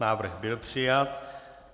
Návrh byl přijat.